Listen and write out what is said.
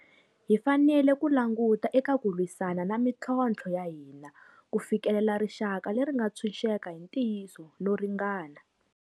Hi fanele ku languta eka ku lwisana na mitlhontlho ya hina ku fikelela rixaka leri nga ntshuxeka hi ntiyiso no ringana.